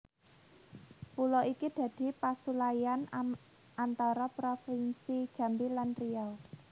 Pulo iki dadi pasulayan anatar provinsi Jambi lan Riau